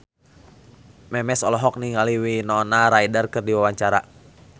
Memes olohok ningali Winona Ryder keur diwawancara